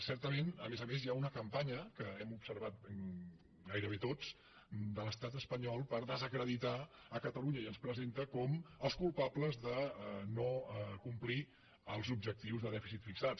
certament a més a més hi ha una campanya que hem observat gairebé tots de l’estat espanyol per desacreditar catalunya i ens presenta com els culpables de no complir els objectius de dèficit fixats